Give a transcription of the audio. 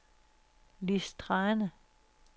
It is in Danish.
Lis Thrane